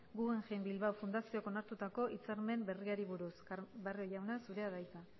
guggemhein bilbao fundazioak onartutako hitzarmen berriari buruz barrio jauna zurea da hitza